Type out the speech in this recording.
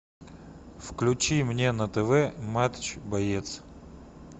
включи мне на тв матч боец